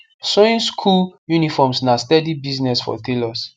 sewing school uniforms na steady business for tailors